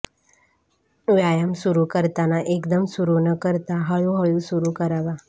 व्यायाम सुरू करताना एकदम सुरू न करता हळूहळू सुरू करावा